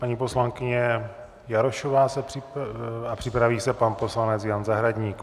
Paní poslankyně Jarošová a připraví se pan poslanec Jan Zahradník.